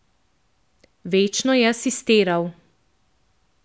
Večno je asistiral.